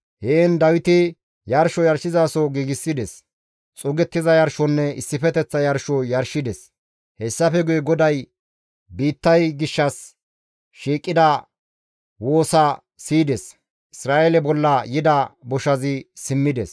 Heen Dawiti yarsho yarshizaso giigsides; xuugettiza yarshonne issifeteththa yarsho yarshides; hessafe guye GODAY biittay gishshas shiiqida woosaa siyides. Isra7eele bolla yida boshazi simmides.